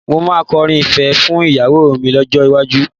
Mo máa kọrin ìfẹ́ fún ìyàwó mi lọ́jọ́ iwájú